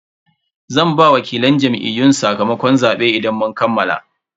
Zan ba wakilan Jam'iyyun sakamakon zaben idan mun kammala.